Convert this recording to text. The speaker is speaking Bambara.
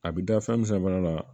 A bɛ da fɛn min sanfɛla la